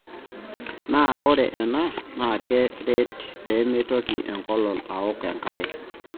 Naa ore ena naa keret peemeitoki enkolong aaok enkare.